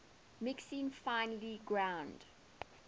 mixing finely ground